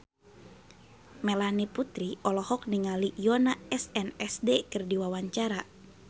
Melanie Putri olohok ningali Yoona SNSD keur diwawancara